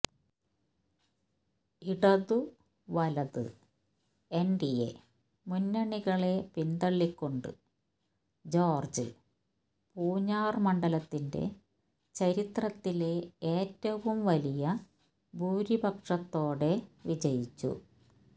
ഇടതു വലത് എൻഡിഎ മുന്നണികളെ പിന്തള്ളിക്കൊണ്ട് ജോർജ്ജ് പൂഞ്ഞാർ മണ്ഡലത്തിന്റെ ചരിത്രത്തിലെ ഏറ്റവും വലിയ ഭൂരിപക്ഷത്തോടെ വിജയിച്ചു